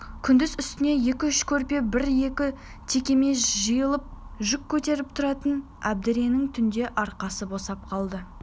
күндіз үстіне екі-үш көрпе бір-екі текеме жиылып жүк көтеріп тұратын әбдіренің түнде арқасы босап қалады